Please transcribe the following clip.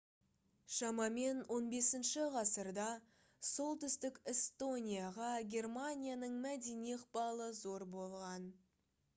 шамамен 15 ғасырда солтүстік эстонияға германияның мәдени ықпалы зор болған